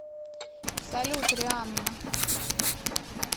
салют рианна